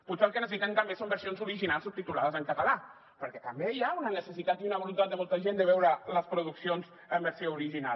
potser el que necessiten també són versions originals subtitulades en català perquè també hi ha una necessitat i una voluntat de molta gent de veure les produccions en versió original